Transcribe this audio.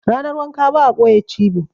Ranar wanka ba a ɓoye cibi.